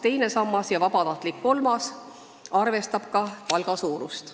Teine sammas ja vabatahtlik kolmas sammas arvestab ka palga suurust.